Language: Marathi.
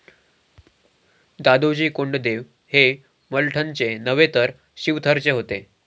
दादोजी कोंडदेव हे मलठनचे नव्हे तर शिवथरचे होते.